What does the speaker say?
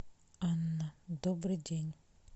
анна добрый день